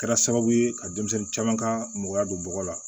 Kɛra sababu ye ka denmisɛnnin caman ka mɔgɔya don bɔgɔ la